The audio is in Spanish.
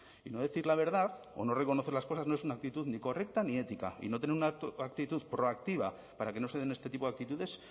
y no decir la verdad o no reconocer las cosas no es una actitud ni correcta ni ética y no tener una actitud proactiva para que no se den este tipo de actitudes